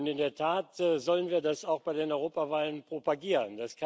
In der Tat sollen wir das auch bei den Europawahlen propagieren.